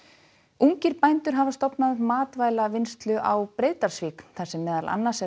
ungir bændur hafa stofnað matvælavinnslu á Breiðdalsvík þar sem meðal annars er